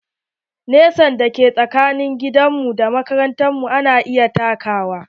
Nesa da ke tsakanin gidan mu da makaranta ana iya takawa.